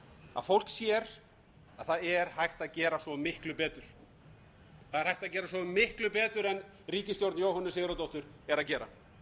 að fólk sér að það er hægt að gera svo miklu betur en ríkisstjórn jóhönnu sigurðardóttur er að gera